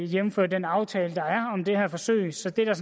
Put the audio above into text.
jævnfør den aftale der er om det her forsøg så det er der